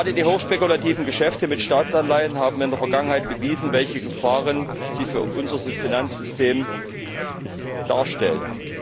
Gerade die hochspekulativen Geschäfte mit Staatsanleihen haben in der Vergangenheit bewiesen, welche Gefahren sie für unser Finanzsystem darstellen.